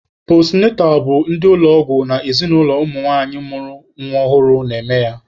Postunatal bụ ndị ụlọ ọgwụ na ezinụlọ nwanyị mụrụ nwa ọhụrụ na-eme ya.